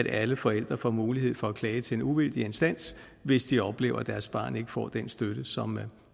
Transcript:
alle forældre får mulighed for at klage til en uvildig instans hvis de oplever at deres barn ikke får den støtte som